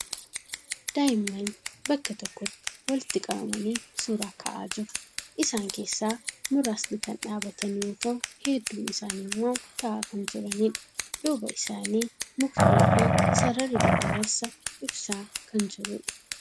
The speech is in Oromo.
Daa'imman bakka tokkotti walitti qabamanii suuraa ka'aa jiru. Isaan keessaa muraasni kan dhaabbatan yoo ta'u hedduun isaanii immoo taa'aa kan jiraniidha. Duuba isaanii mukni fi sararri daddabarsa ibsaa kan jiruudha.